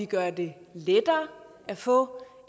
gøre det lettere at få